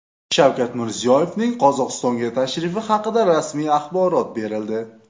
Shavkat Mirziyoyevning Qozog‘istonga tashrifi haqida rasmiy axborot berildi.